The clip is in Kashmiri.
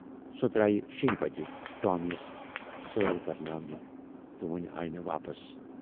سۅ درایہِ شییہِ بجہِ ٹامی یَس سٲل کَرناونہٕ تہٕ وُنہِ آیہِ نہٕ واپس؟